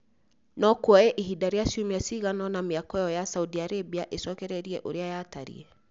No kuoye ihinda rĩa ciumia cigana ũna mĩako ĩyo ya Saudi Arabia ĩcokererie ũrĩa yatariĩ.